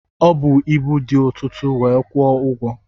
Ọ bu ibu dị ọtụtụ wee kwụọ ụgwọ.